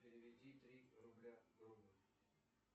переведи три рубля другу